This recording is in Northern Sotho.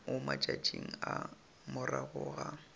mo matšatšing a morago ga